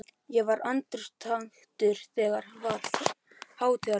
Ég var andaktugur, þetta var hátíðleg stund.